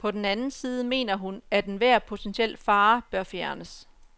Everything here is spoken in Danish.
På den anden side mener hun, at enhver potentiel fare bør fjernes.